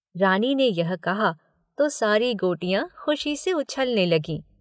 " रानी ने यह कहा तो सारी गोटियां खुशी से उछलने लगीं।